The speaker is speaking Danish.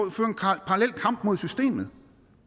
at føre en parallel kamp mod systemet